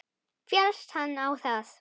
Féllst hann á það.